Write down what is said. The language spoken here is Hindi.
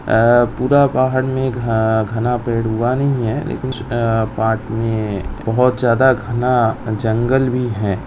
अ पूरा पहाड़ में घ-घना पेड़ हुआ नहीं है लेकिन पहाड़ में बहुत ज्यादा घना जंगल भी है।